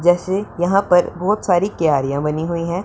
जैसे यहां पर बहोत सारी क्यारियां बनी हुई हैं।